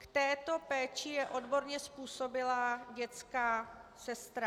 K této péči je odborně způsobilá dětská sestra.